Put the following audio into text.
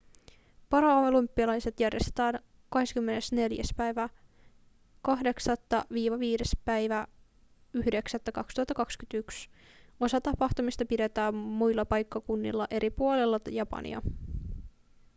paralympialaiset järjestetään 24.8.–5.9.2021. osa tapahtumista pidetään muilla paikkakunnilla eri puolilla japania